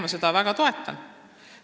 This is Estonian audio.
Jah, toetan kõike seda väga.